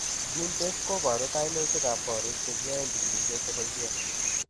Genetests koboru kainutik ab koriik chekiyaen chikilisiet cheboisie